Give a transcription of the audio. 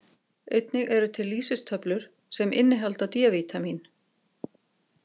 Einnig eru til lýsistöflur sem innihalda D-vítamín.